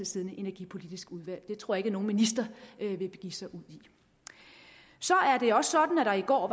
siddende energipolitisk udvalg det tror jeg ikke at nogen minister vil begive sig ud i så er det også sådan at der i går